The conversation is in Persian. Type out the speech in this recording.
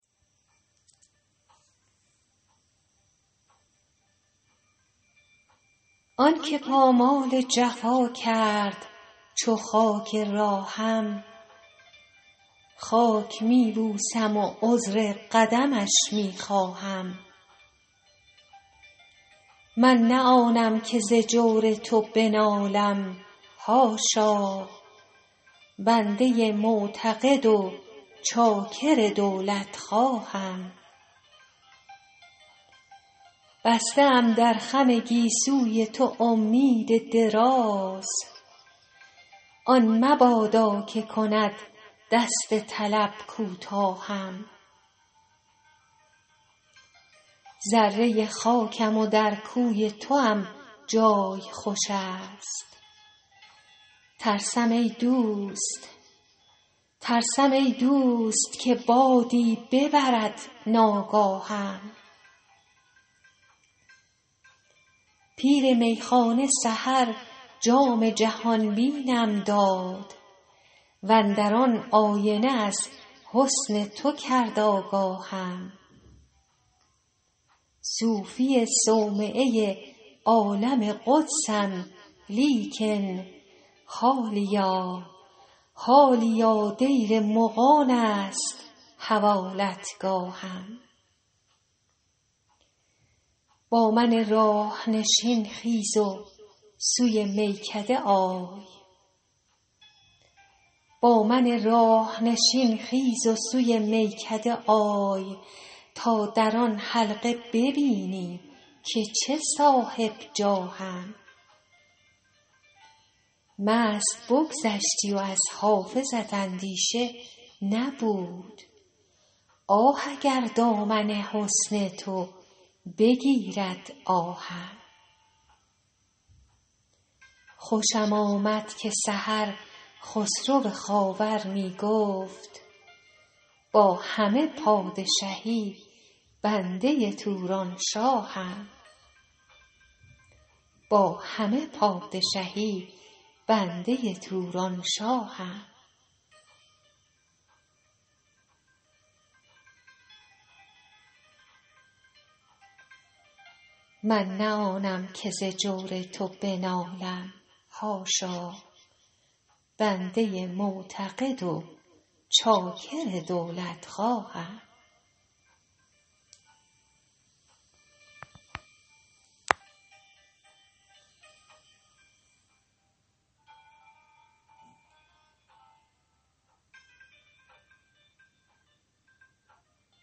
آن که پامال جفا کرد چو خاک راهم خاک می بوسم و عذر قدمش می خواهم من نه آنم که ز جور تو بنالم حاشا بنده معتقد و چاکر دولتخواهم بسته ام در خم گیسوی تو امید دراز آن مبادا که کند دست طلب کوتاهم ذره خاکم و در کوی توام جای خوش است ترسم ای دوست که بادی ببرد ناگاهم پیر میخانه سحر جام جهان بینم داد و اندر آن آینه از حسن تو کرد آگاهم صوفی صومعه عالم قدسم لیکن حالیا دیر مغان است حوالتگاهم با من راه نشین خیز و سوی میکده آی تا در آن حلقه ببینی که چه صاحب جاهم مست بگذشتی و از حافظت اندیشه نبود آه اگر دامن حسن تو بگیرد آهم خوشم آمد که سحر خسرو خاور می گفت با همه پادشهی بنده تورانشاهم